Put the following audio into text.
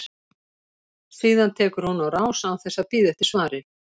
Síðan tekur hún á rás án þess að bíða eftir svari.